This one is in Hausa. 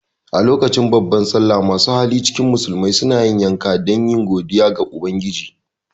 A lokacin babbar sallah masu hali cikin musulmai suna yanka dan yi godiya ga ubangiji